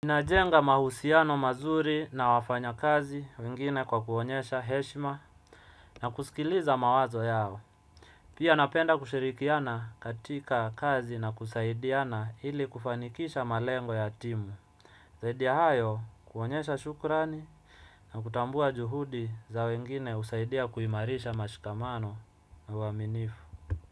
Najenga mahusiano mazuri na wafanya kazi wengine kwa kuonyesha heshima na kusikiliza mawazo yao. Pia napenda kushirikiana katika kazi na kusaidiana ili kufanikisha malengo ya timu. Zaidi ya hayo kuonyesha shukrani na kutambua juhudi za wengine husaidia kuimarisha mashikamano wa uaminifu.